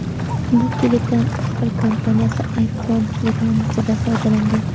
Bu klipdan Apple kompaniyasi iPhone reklamasida foydalangan.